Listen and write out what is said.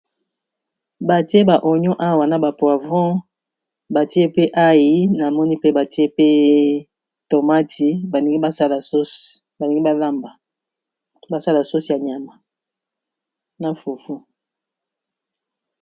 Batie ba oignon awa na ba poivron batie pe aïe namoni pe batie pe tomati, balingi ba sala sauce ba lingi ba lamba ba sala sauce ya nyama na fufu.